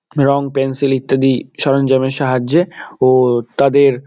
রং pencil ইত্যাদি সরঞ্জামের সাহায্যে ও তাদের--